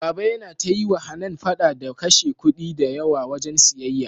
baba Yana ta yiwa Hanan fada ta kashe kudi da yawa wajan siyayya